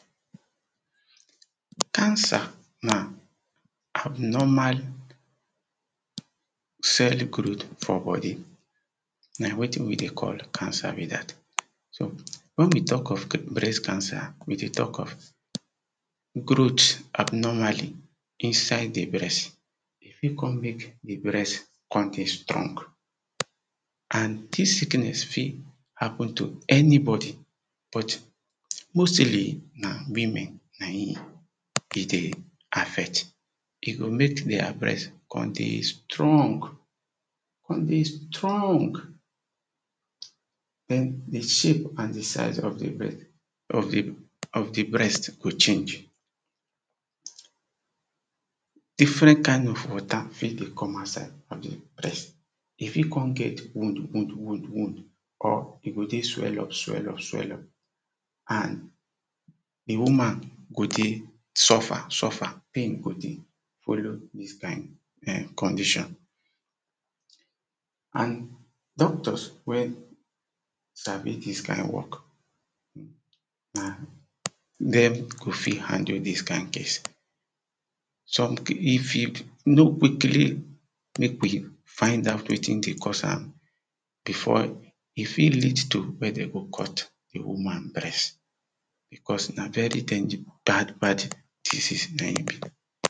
Cancer na abnormal cell growth for body na wetin we dey call cancer be dat. So wen we talk of breast cancer we dey talk of growth abnormally inside di breast e fit come make di breast, come dey strong and dis sickness fit happen to anybody, but mostly na women na im e dey affect e go make their breast come dey strong, come dey strong, den di shape and di size of di breast, of di of di breast go change. Different kind of water fit dey come outside of di breast, e fit come get wound wound wound wound, or e go dey swell up swell up swell up, and di woman go dey suffer suffer and pain go dey follow dis kind um condition. And doctors wen sabi dis kind work, na dem go fit handle dis kind case. Some if you no quickly make we find out wetin dey cause am, before e fit lead to wen den go cut di woman breast because na very dange bad bad disease na im